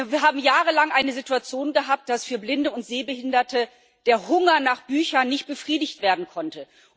Wir haben jahrelang eine Situation gehabt, dass für Blinde und Sehbehinderte der Hunger nach Büchern nicht befriedigt werden konnte.